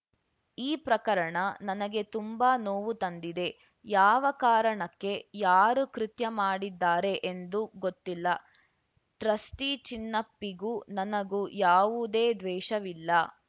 ಈ ಪ್ರಕರಣ ನನಗೆ ತುಂಬಾ ನೋವು ತಂದಿದೆ ಯಾವ ಕಾರಣಕ್ಕೆ ಯಾರು ಕೃತ್ಯ ಮಾಡಿದ್ದಾರೆ ಎಂದು ಗೊತ್ತಿಲ್ಲ ಟ್ರಸ್ಟಿಚಿನ್ನಪ್ಪಿಗೂ ನನಗೂ ಯಾವುದೇ ದ್ವೇಷವಿಲ್ಲ